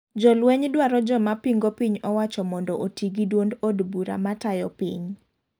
Jolweny dwaro joma pingo piny owacho mondo oti gi duond od ura matayo piny.